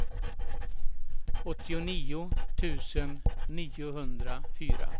åttionio tusen niohundrafyra